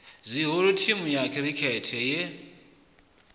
zwihulu thimu ya khirikhethe ye